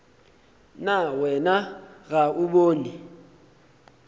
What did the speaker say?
na wena ga o bone